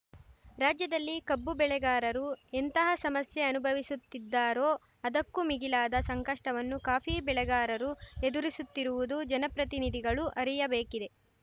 ರಾಜ್ಯದಲ್ಲಿ ಕಬ್ಬು ಬೆಳೆಗಾರರು ಎಂತಹ ಸಮಸ್ಯೆ ಅನುಭವಿಸುತ್ತಿದ್ದಾರೋ ಅದಕ್ಕೂ ಮಿಗಿಲಾದ ಸಂಕಷ್ಟವನ್ನು ಕಾಫಿ ಬೆಳೆಗಾರರು ಎದುರಿಸುತ್ತಿರುವುದು ಜನಪ್ರತಿನಿಧಿಗಳು ಅರಿಯಬೇಕಿದೆ